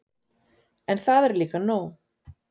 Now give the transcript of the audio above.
En það er líka nóg.